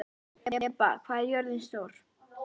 Heba, hvað er jörðin stór?